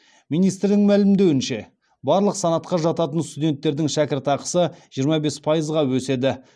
министрдің мәлімдеуінше барлық санатқа жататын студенттердің шәкіртақысы жиырма бес пайызға өседі